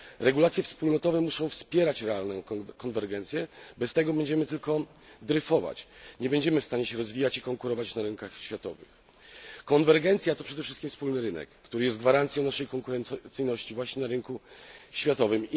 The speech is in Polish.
Regulacje wspólnotowe muszą wspierać realną konwergencję, bez tego będziemy tylko dryfować, nie będziemy w stanie się rozwijać i konkurować na rynkach światowych. Konwergencja to przede wszystkim wspólny rynek, który jest gwarancją naszej konkurencyjności właśnie na rynku światowym.